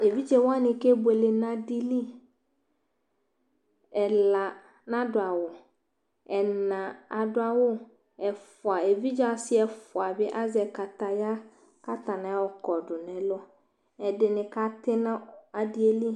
ɛviḍzɛwɑni kɛbωɛlɛ ɲɑɗili ɛlă ɲɑɖωɑwu ɛlɑ ɑɖωɑwω ɛfωɑ ɛvidzɛɑsi ɛfωɑbi ɑzɛkɑtɑyɑ kɑtɑɲiɑnio kɔɗω ɲɛlω ɲɑ ɑɖiɛli